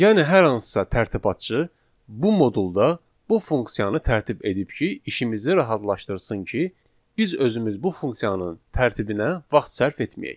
Yəni hər hansısa tərtibatçı bu modulda bu funksiyanı tərtib edib ki, işimizi rahatlaşdırsın ki, biz özümüz bu funksiyanın tərtibinə vaxt sərf etməyək.